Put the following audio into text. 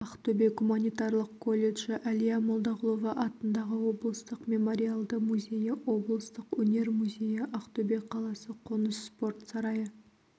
ақтөбе гуманитарлық колледжі әлия молдағұлова атындағы облыстық мемориалды музейі облыстық өнер музейі ақтөбе қаласы қоныс спорт сарайы